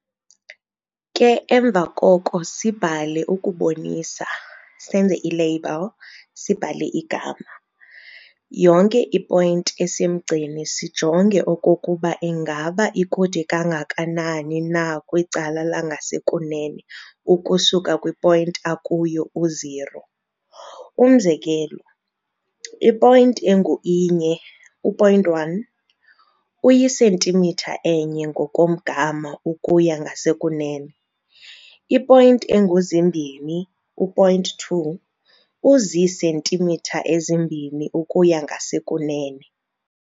Ke emva koko sibhale ukubonisa, senze i-label, sibhale igama, yonke i-point esemgceni sijonge okokuba ingaba ikude kangakanani na kwicala langasekunene ukusuka kwi-point akuyo u-0, umzekelo, i-point engu-inye, u-point one, uyi-centimeter enye ngokomgama ukuya ngasekunene, i-point engu-zimbini, u-point two, uzisentimitha ezimbini ukuya ngasekunene.